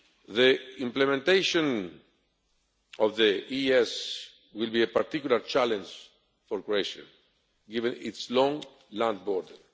The implementation of the EES will be a particular challenge for Croatia given its long land border.